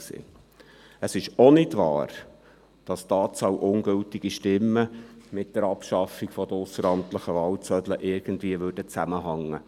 Auch nicht wahr ist, dass die Anzahl an ungültigen Stimmen irgendwie mit der Abschaffung der ausseramtlichen Wahlzettel zusammenhängt;